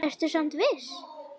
Ertu samt viss?